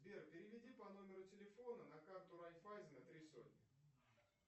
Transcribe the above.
сбер переведи по номеру телефона на карту райфайзена три сотни